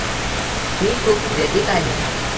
मी खूप व्यथित आहे.